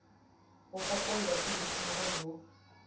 ho fokollwa ke boitswaro ho